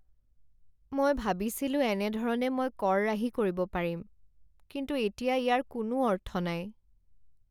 মই ভাবিছিলোঁ এনেধৰণে মই কৰ ৰাহি কৰিব পাৰিম, কিন্তু এতিয়া ইয়াৰ কোনো অৰ্থ নাই।